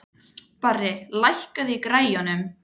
Barri, lækkaðu í græjunum.